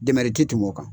Dɛmɛrɛti tɛmɛ o kan